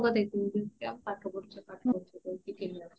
ରଙ୍ଗ ଦେଖାଉଚନ୍ତି ଜମାରୁ ପାଠ ପଢୁଛନ୍ତି ପାଠ ପଢୁଛନ୍ତି କହିକି କେହି ଆସୁନାହାନ୍ତି